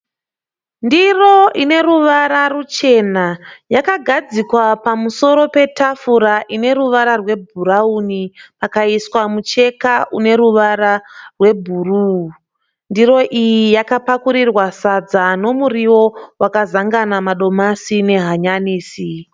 Ndiro ineruvara ruchena yakagadzikwa pamusoro petafura ineruvara rwebhurawuni pakaiswa mucheka ineruvara rwebhuruu. Ndiro iyi yakapakurirwa sadza rinemuriwo wakazangana madomasi nehanyanisi.